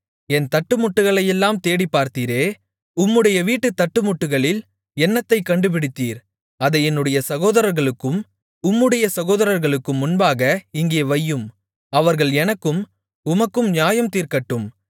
என் தட்டுமுட்டுகளையெல்லாம் தேடிப்பார்த்தீரே உம்முடைய வீட்டுத் தட்டுமுட்டுகளில் என்னத்தைக் கண்டுபிடித்தீர் அதை என்னுடைய சகோதரர்களுக்கும் உம்முடைய சகோதரர்களுக்கும் முன்பாக இங்கே வையும் அவர்கள் எனக்கும் உமக்கும் நியாயம் தீர்க்கட்டும்